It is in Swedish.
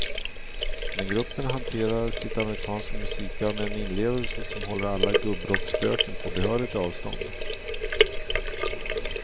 Men gruppen hanterar sitt amerikanska musikarv med en inlevelse som håller alla gubbrockspöken på behörigt avstånd.